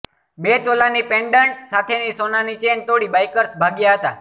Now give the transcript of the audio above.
બે તોલાની પેન્ડન્ટ સાથેની સોનાની ચેઇન તોડી બાઇકર્સ ભાગ્યા હતાં